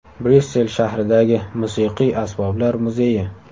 Bryussel shahridagi Musiqiy asboblar muzeyi.